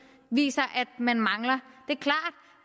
viser at man mangler